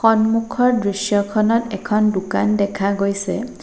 সন্মুখৰ দৃশ্যখনত এখন দোকান দেখা গৈছে।